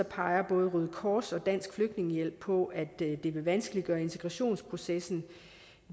peger både røde kors og dansk flygtningehjælp på at det vil vanskeliggøre integrationsprocessen